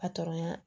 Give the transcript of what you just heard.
ya